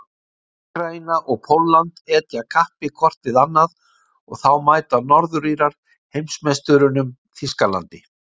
Úkraína og Pólland etja kappi hvort við annað og þá mæta Norður-Írar heimsmeisturunum, Þýskalandi.